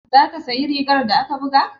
Za ki siya rigar da aka buga?